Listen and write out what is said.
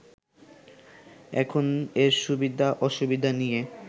এখন এর সুবিধা অসুবিধা নিয়ে